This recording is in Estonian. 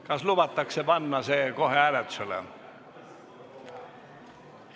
Kas lubatakse panna see kohe hääletusele?